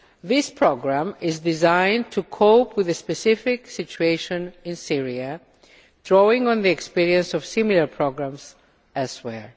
This programme is designed to cope with the specific situation in Syria, drawing on the experiences of similar programmes elsewhere.